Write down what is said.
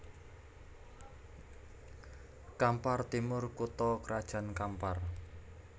Kampar Timur kutha krajan Kampar